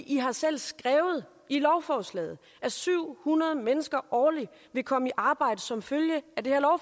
i har selv skrevet i lovforslaget at syv hundrede mennesker årligt vil komme i arbejde som følge af det